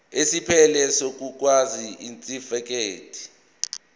esiphelele sokuzalwa isitifikedi